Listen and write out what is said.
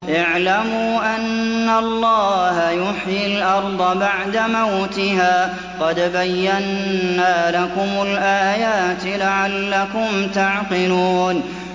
اعْلَمُوا أَنَّ اللَّهَ يُحْيِي الْأَرْضَ بَعْدَ مَوْتِهَا ۚ قَدْ بَيَّنَّا لَكُمُ الْآيَاتِ لَعَلَّكُمْ تَعْقِلُونَ